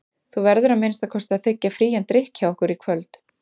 Þú verður að minnsta kosti að þiggja frían drykk hjá okkur í kvöld.